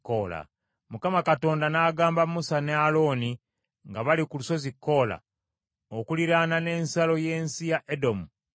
Mukama Katonda n’agamba Musa ne Alooni, nga bali ku lusozi Koola okuliraana n’ensalo y’ensi ya Edomu, nti,